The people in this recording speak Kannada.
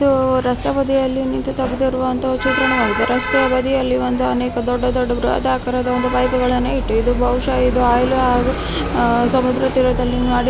ಇದು ರಸ್ತೆ ಬದಿಯಲ್ಲಿ ನಿಂತು ತೆಗೆದಿರುವ ಒಂದು ಚಿತ್ರಣವಾಗಿದೆ ರಸ್ತೆಯ ಬದಿಯಲ್ಲಿ ಒಂದು ಅನೆಕ ದೊಡ್ಡ ದೊಡ್ಡ ಬ್ರಹದಾಕಾರದ ಪೈಪು ಗಳನ್ನು ಇಟ್ಟಿದ್ ಬಹುಶ ಇದು ಆಯಿಲ್ ಹಾಗು ಸಮುದ್ರ ತೀರದಲ್ಲಿ --